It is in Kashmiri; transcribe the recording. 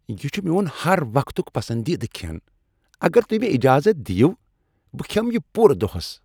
یہ چھ میون ہر وقتک پسندیدٕ کھین، اگر تہۍ مےٚ اجازت دِیِو، بہٕ کھیمہٕ یہ پورٕ دوہس۔